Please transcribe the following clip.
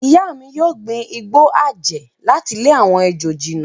Ìyá mi yóò gbin igbó àjẹ́ láti lé àwọn ejò jìnnà.